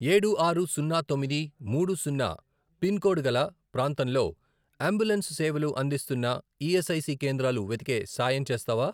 ఏడు, ఆరు, సున్నా, తొమ్మిది, మూడు, సున్నా, పిన్ కోడ్ గల ప్రాంతంలో అంబులెన్స్ సేవలు అందిస్తున్న ఈఎస్ఐసి కేంద్రాలు వెతికే సాయం చేస్తావా?